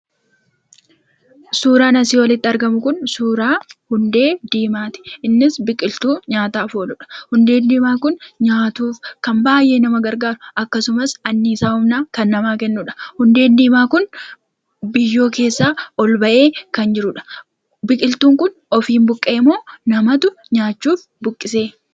Suuraan asii olitti argamu kun suuraa hundee diimaati. Innis biqiltuu nyaataaf ooludha. Hundeen diimaa kun nyaatuuf kan baay'ee nama gargaarudha akkasumas anniisaa humnaa kan namaa kennudha. Hundeen diimaa kun biyyoo keessaa ol bahee kan jirudha. Biqiltuun kun ofiif buqqa'e moo namatu nyaachuuf buqqise?